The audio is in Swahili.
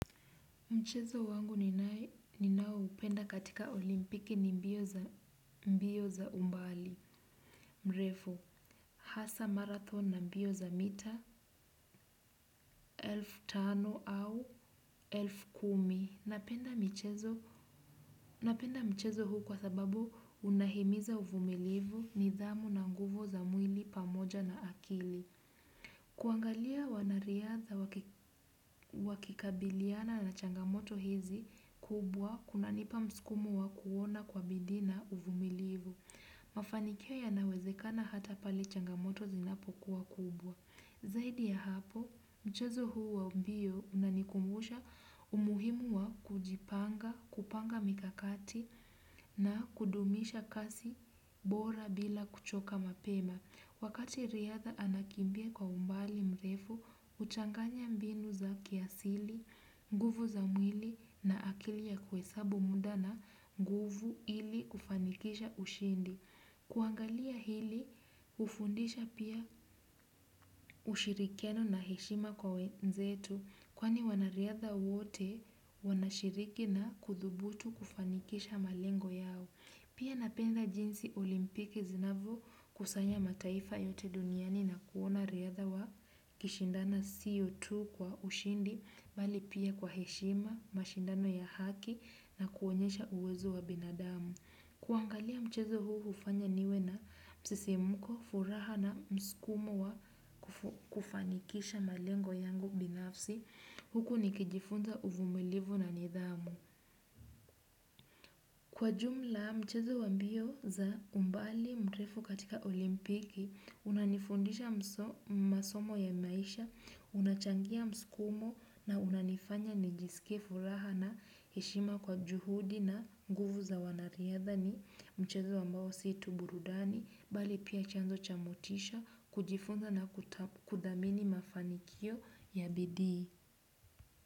Mchezo wangu ninao upenda katika olimpiki ni mbio za umbali, mrefu, hasa marathon na mbio za mita, elfu tano au elfu kumi. Napenda mchezo huu kwa sababu unahimiza uvumilivu ni dhamu na nguvu za mwili pamoja na akili. Kuangalia wanariadha wakikabiliana na changamoto hizi kubwa kuna nipa msukumo wa kuona kwa bidii na uvumilivu. Mafanikio yanawezekana hata pale changamoto zinapo kuwa kubwa. Zaidi ya hapo, mchezo huu wa mbio unanikumbusha umuhimu wa kujipanga, kupanga mikakati na kudumisha kasi bora bila kuchoka mapema. Wakati riadha anakimbia kwa umbali mrefu, huchanganya mbinu za kiasili, nguvu za mwili na akili ya kuhesabu muda na guvu ili ufanikisha ushindi. Kuangalia hili, hufundisha pia ushirikiano na heshima kwa wenzetu, kwani wanariadha wote wanashiriki na kuthubutu kufanikisha malengo yao. Pia napenda jinsi olimpiki zinavyo kusanya mataifa yote duniani na kuona riadha wa kishindana sio tu kwa ushindi, bali pia kwa heshima, mashindano ya haki na kuonyesha uwezo wa binadamu. Kuangalia mchezo huu ufanya niwe na msisimuko, furaha na msukumo wa kufanikisha malengo yangu binafsi, huku nikijifunza uvumilivu na nidhamu. Kwa jumla, mchezo wa mbio za umbali mtrefu katika olimpiki, unanifundisha masomo ya maisha, unachangia msukumo na unanifanya nijisikie furaha na heshima kwa juhudi na nguvu za wana riadha ni, mchezo ambawo si tu burudani, bali pia chanzo cha motisha, kujifunza na kuthamini mafanikio ya bidii.